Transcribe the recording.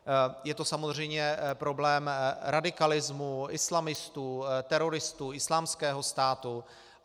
Je to samozřejmě problém radikalismu islamistů, teroristů Islámského státu.